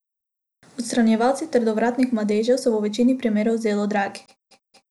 Odstranjevalci trdovratnih madežev so v večini primerov zelo dragi.